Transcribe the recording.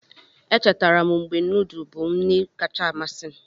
Echetara m mgbe nudu bụ nri kacha amasị m.